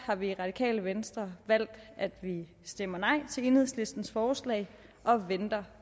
har vi i radikale venstre valgt at vi stemmer nej til enhedslistens forslag og venter